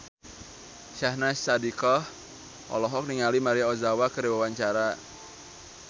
Syahnaz Sadiqah olohok ningali Maria Ozawa keur diwawancara